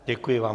Děkuji vám.